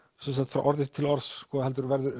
frá orði til orðs heldur verður